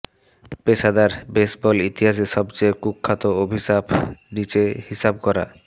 পেশাদার বেসবল ইতিহাসে সবচেয়ে কুখ্যাত অভিশাপ নিচে হিসাব করা